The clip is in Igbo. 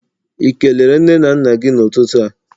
I kelere nne na nna gi n'ututu a?